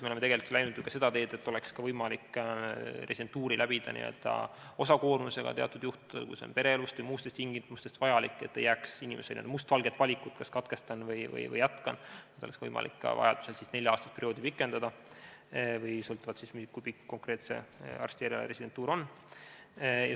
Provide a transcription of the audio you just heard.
Me oleme tegelikult läinud ju ka seda teed, et teatud juhtudel oleks võimalik residentuuri läbida osakoormusega, kui see on pereelust ja muudest asjaoludest tingituna vajalik, nii et inimesele ei jääks ainult mustvalge valik, et kas katkestan või jätkan, ning vajaduse korral oleks võimalik ka nelja-aastast perioodi pikendada, sõltuvalt sellest, kui pikk konkreetse arsti erialaresidentuur on.